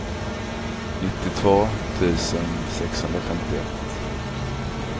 nittiotvå tusen sexhundrafemtioett